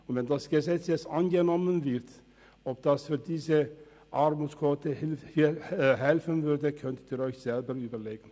Ob es der Armutsquote helfen würde, wenn das Gesetz jetzt angenommen wird, können Sie sich selber überlegen.